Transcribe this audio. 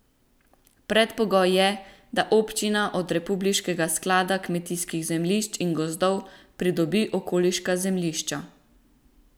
Predpogoj je, da občina od republiškega sklada kmetijskih zemljišč in gozdov pridobi okoliška zemljišča.